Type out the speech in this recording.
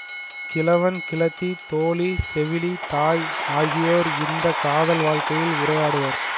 கிழவன் கிழத்தி தோழி செவிலி தாய் ஆகியோர் இந்த காதல் வாழ்க்கையில் உரையாடுவர்